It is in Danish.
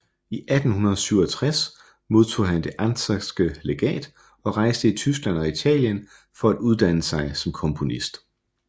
I 1867 modtog han Det anckerske Legat og rejste i Tyskland og Italien for at uddanne sig som komponist